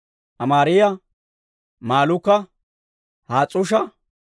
Amaariyaa, Malluuka, Has's'uusha,